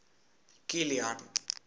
kilian